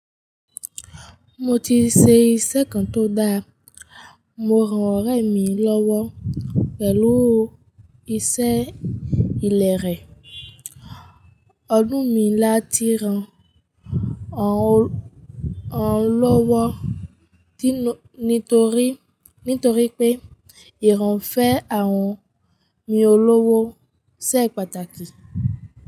Mo ti ṣèṣe kan tó dáa, mò ràn ọ̀rẹ́ mi lọ́wọ́ pẹ̀lú iṣẹ́ ìlẹ̀ rẹ̀. Ọdún mi láti ràn rán lọ́wọ́ nítorí pé ìran ń fẹ́ àwọn mi ọ lọ́wọ́ ṣẹ́ pàtàkì.